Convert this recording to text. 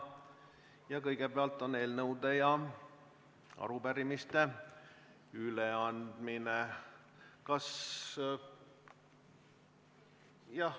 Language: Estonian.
Kõigepealt on eelnõude ja arupärimiste üleandmine.